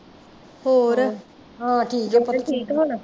ਹੋਰ ਗੁਰਪ੍ਰੀਤ ਠੀਕ ਆ ਹੁਣ